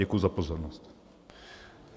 Děkuji za pozornost.